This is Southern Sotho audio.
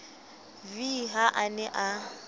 v ha a ne a